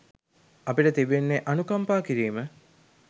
අපිට තිබෙන්නේ අනුකම්පා කිරීම